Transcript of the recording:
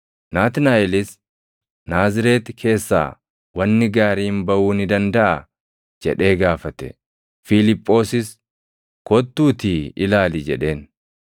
Naatnaaʼelis, “Naazreeti keessaa wanni gaariin baʼuu ni dandaʼaa?” jedhee gaafate. Fiiliphoosis, “Kottuutii ilaali” jedheen.